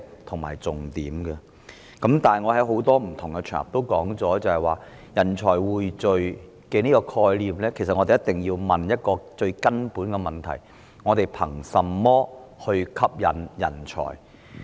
我曾在多個不同場合提到，對於人才匯聚這個概念，我們一定要問一個最根本的問題：我們憑甚麼吸引人才？